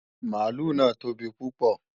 Mààlúù náà tóbi púpọ̀